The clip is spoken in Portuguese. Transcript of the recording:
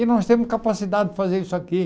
E nós temos capacidade de fazer isso aqui.